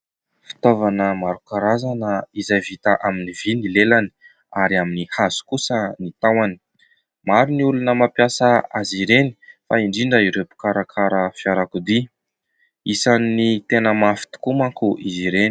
Fitaovana maro karazana izay vita amin'ny vy ny lelany ary amin'ny hazo kosa ny tahony ; maro ny olona mampiasa azy ireny fa indrindra ireo mpikarakara fiarakodia ; isan'ny tena mafy tokoa manko izy ireny.